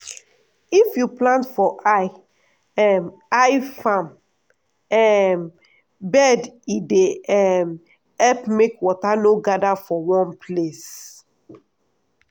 if you plant for high um high farm um bed e dey um help make water no gather for one place.